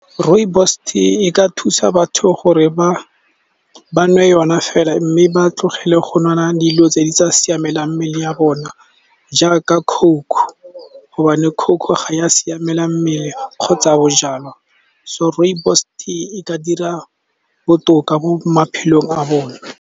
Rooibos tea e ka thusa batho gore ba nwe yona fela, mme ba tlogele go nwa dilo tse di sa siamelang mmele ya bona jaaka coke gobane coke ga ya siamela mmele kgotsa bojalwa. So, rooibos tea ka dira botoka mo maphelong a bone.